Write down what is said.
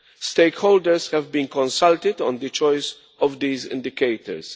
Stakeholders have been consulted on the choice of these indicators.